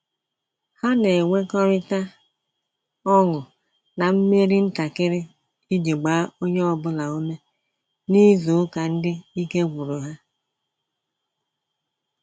Ha na enwekọrita ọṅụ na mmeri ntakịrị iji gbaa onye ọbụla ume n'izu ụka ndị ike gwụrụ ha